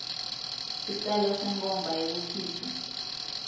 sicelo senkhomba yekukhishwa